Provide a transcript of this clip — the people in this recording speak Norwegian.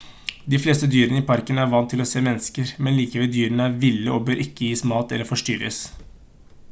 de fleste dyrene i parken er vant til å se mennesker men likevel dyrene er ville og bør ikke gis mat eller forstyrres